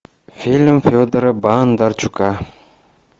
фильм федора бондарчука